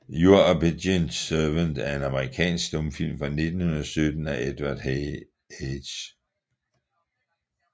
Your Obedient Servant er en amerikansk stumfilm fra 1917 af Edward H